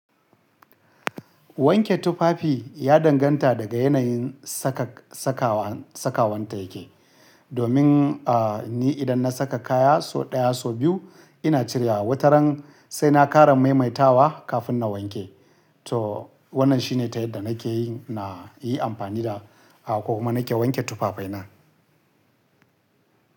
Wanke tufafi ya danganta daga yanayin saka, sakawa, sakawanta yake. Domin, uh, ni idan na saka kaya so ɗaya, so biyu ina cirewa. Watarai sai na ƙara maimaita wa kafin na wanke. To wannan shine ta yadda nake yi, na yi amfani da, a ko kuma nake wanke tufafai na.